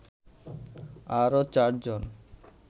আরো ৪জন